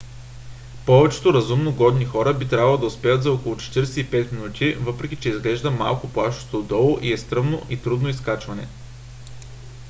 повечето разумно годни хора би трябвало да успеят за около 45 минути въпреки че изглежда малко плашещо отдолу и е стръмно и трудно изкачване